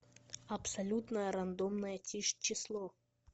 абсолютное рандомное число